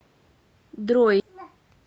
дрой